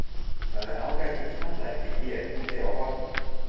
Það er ágætur tannlæknir hér úti á horni.